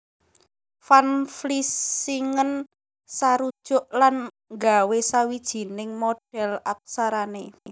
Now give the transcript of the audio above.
Van Vlissingen sarujuk lan nggawé sawijining modhèl aksarané